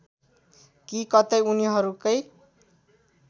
कि कतै उनीहरूकै